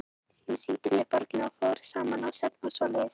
Hún sýndi mér borgina og við fórum saman á söfn og svoleiðis.